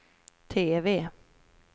TV